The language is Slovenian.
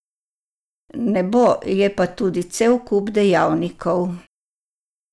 Ne bo, je pa tu cel kup dejavnikov.